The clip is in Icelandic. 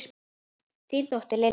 Þín dóttir, Lilja.